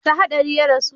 ta hatsari ya rasu?